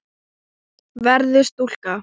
Verður stúlka.